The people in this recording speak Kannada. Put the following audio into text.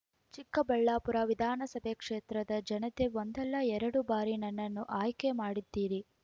ಚಿಕ್ಕಬಳ್ಳಾಪುರ ವಿಧಾನಸಭಾ ಕ್ಷೇತ್ರದ ಜನತೆ ಒಂದಲ್ಲ ಎರಡು ಬಾರಿ ನನ್ನನ್ನು ಆಯ್ಕೆ ಮಾಡಿದ್ದೀರಿ